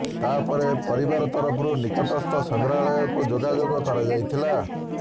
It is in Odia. ତା ପରେ ପରିବାର ତରଫରୁ ନିକଟସ୍ଥ ସଂଗ୍ରହାଳୟକୁ ଯୋଗାଯୋଗ କରାଯାଇଥିଲା